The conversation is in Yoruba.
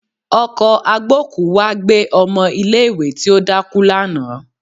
Ọkọ̀ agbókùú wá gbé ọmọ ilé ìwé tí ó dákú lánàá